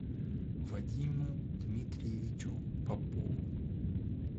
вадиму дмитриевичу попову